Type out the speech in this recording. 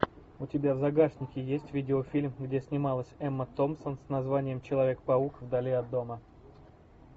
у тебя в загашнике есть видеофильм где снималась эмма томпсон с названием человек паук вдали от дома